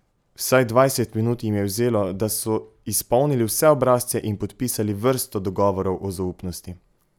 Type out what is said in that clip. Vsaj dvajset minut jim je vzelo, da so izpolnili vse obrazce in podpisali vrsto dogovorov o zaupnosti.